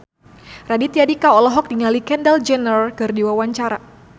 Raditya Dika olohok ningali Kendall Jenner keur diwawancara